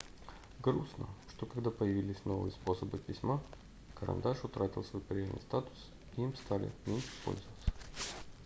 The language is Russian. грустно что когда появились новые способы письма карандаш утратил свой прежний статус и им стали меньше пользоваться